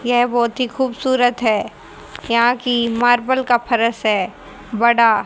ये बहोत ही खूबसूरत है यहां की मार्बल का फर्श है बड़ा--